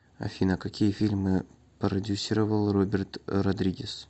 афина какие фильмы продюсировал роберт родригес